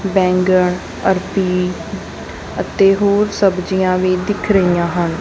ਬੈਂਗਣ ਅਰਬੀ ਅਤੇ ਹੋਰ ਸਬਜ਼ੀਆਂ ਵੀ ਦਿਖ ਰਹੀਆਂ ਹਨ।